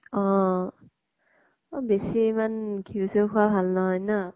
অহ। বেছি ইমান ঘিউ চিউ খোৱা ভাল নহয় ন?